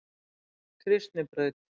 Kristnibraut